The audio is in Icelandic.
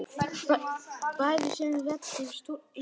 Bæði sem reddari og túlkur!